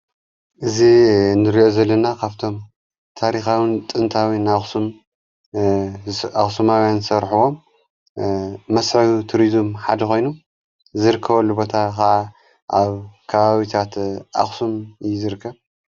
እዝ እንርዮ ዘለና ኻብቶም ታሪኻዊን ጥንታዊን ኣስማውያን ዝርከቦም መስዕዩ ትሪዙም ሓድኾይኑ ዝርከወሉ ቦታ ኸዓ ኣብ ካባቢታት ኣኽሱም ዝርከብ።